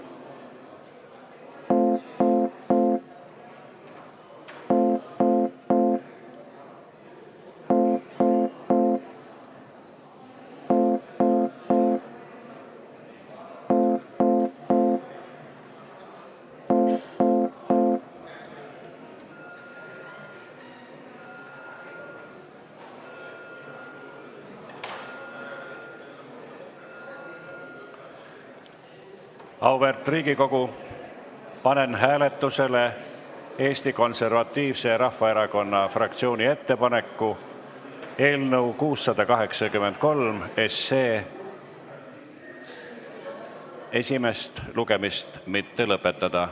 Auväärt Riigikogu, panen hääletusele Eesti Konservatiivse Rahvaerakonna fraktsiooni ettepaneku eelnõu 683 esimest lugemist mitte lõpetada.